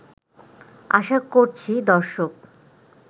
আশা করছি দর্শক